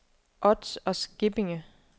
Ods og Skippinge